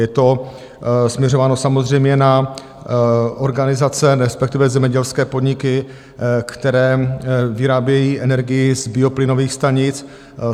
Je to směřováno samozřejmě na organizace, respektive zemědělské podniky, které vyrábějí energii z bioplynových stanic.